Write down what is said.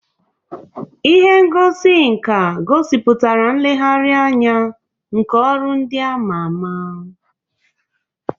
Ụlọ ihe ngosi nka gosipụtara nlegharị anya nke ọrụ ndị a ma ama.